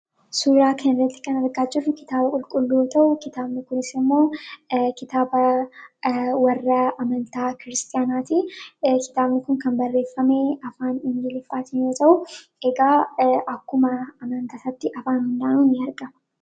Suuraa kanarratti kan argaa jirru kitaaba qulqulluu yommuu ta'u, kitaabni kunis immoo kan warra amantaa kiristiyaanaa ti. Kitaabni kun kan barreeffame afaan Ingiliffaatiin yommuu ta'u, egaa akkuma amantaa isaatti afaan hundaayyuu ni argama.